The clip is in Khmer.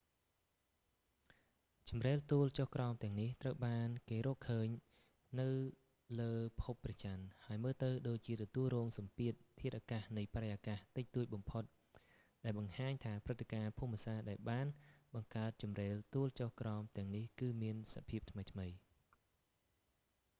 ជម្រេលទួលចុះក្រោមទាំងនេះត្រូវបានគេរកឃើញនៅលើភពព្រះច័ន្ទហើយមើលទៅដូចជាទទួលរងសំពាធធាតុអាកាសនៃបរិយាកាសតិចតួចបំផុតដែលបង្ហាញថាព្រឹត្តិការណ៍ភូមិសាស្ត្រដែលបានបង្កើតជម្រេលទួលចុះក្រោមទាំងនេះគឺមានសភាពថ្មីៗ